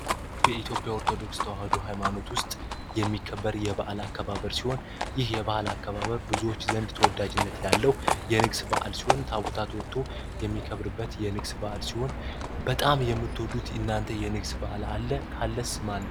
በኢትዮጵያ ኦርቶዶክስ ተዋህዶ ሃይማኖት ውስጥ የሚከበር የበዓል አከባበር ሲሆን ይህ የበዓል አከባበር ብዙዎች ዘንድ ተወዳጅነት ያለው የንግስና በዓል ሲሆን ታቦታት ወጥተው የንግስ በአል ሲሆን ታቦታት ወጥተው እናንተ በጣም የምትወዱት የንግስ በአል አለ? ካለስ ማን ነው?